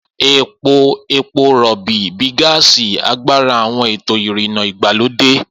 Epo epo rọ̀bì, bíi gáàsì, agbára àwọn ètò ìrìnnà ìgbàlódé.